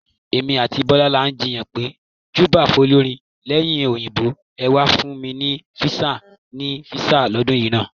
Èmi àti Bọ́lá là ń jiyàn péjọba fólórin "Ẹ̀yin Òyìnbó ẹ̀ wà fún mi ní visa..." ni visa lọ́dún náà.